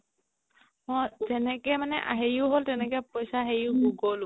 অ তেনেকে মানে আ হেৰিও হ'ল তেনেকে পইচা গ'লো